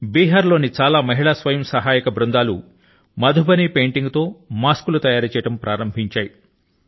బిహార్ లోని చాలా మహిళా స్వయం సహాయక సమూహాలు మధుబనీ పెయింటింగ్ తో కూడిన మాస్కుల ను తయారు చేయడం ప్రారంభించాయి